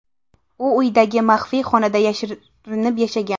U uyidagi maxfiy xonada yashirinib yashagan.